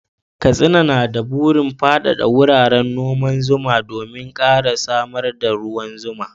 Katsina na da burin faɗaɗa wuraren noman zuma domin ƙara samar da ruwan zuma.